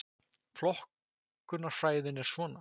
Flokkunarfræðin er svona: